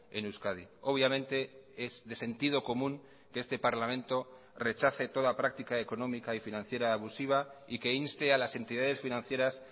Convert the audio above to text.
en euskadi obviamente es de sentido común que este parlamento rechace toda práctica económica y financiera abusiva y que inste a las entidades financieras